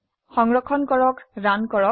সংৰক্ষণ কৰে ৰান কৰক